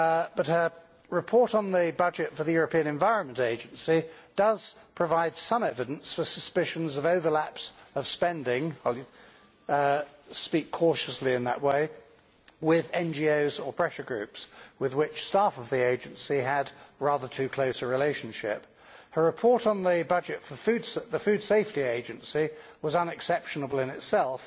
But her report on the budget for the European Environment Agency does provide some evidence for suspicions of overlaps of spending I will speak cautiously in that way with NGOs or pressure groups with which staff of the agency had rather too close a relationship. Her report on the budget for the Food Safety Agency was unexceptionable in itself,